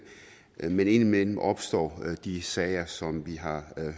men indimellem opstår de sager som vi har